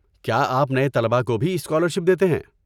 کیا آپ نئے طلبہ کو بھی اسکالرشپ دیتے ہیں؟